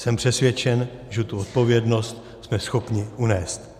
Jsem přesvědčen, že tu odpovědnost jsme schopni unést.